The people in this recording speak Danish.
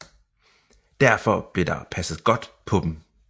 Derfor blev der passet godt på dem